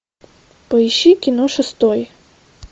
поищи кино шестой